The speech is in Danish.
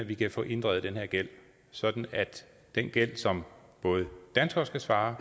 vi kan få inddrevet den her gæld sådan at den gæld som danskere skal svare